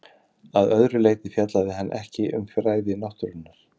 Að öðru leyti fjallaði hann ekki um fræði náttúrunnar.